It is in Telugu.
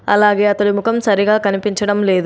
అలాగే అతని ముఖం సరిగా కనిపించడం లేదు.